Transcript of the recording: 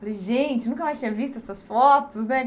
Falei, gente, nunca mais tinha visto essas fotos, né?